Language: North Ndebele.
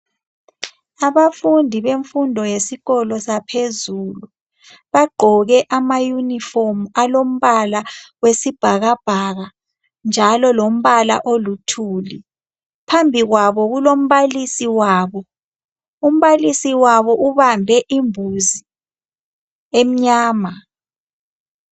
Abafundi bemfundo yesikolo saphezulu, bagqoke amayunifomu alombala wesibhakabhaka njalo lombala oluthuli. Phambi kwabo kulombalisi wabo. Umbalisi wabo ubambe imbuzi emnyama.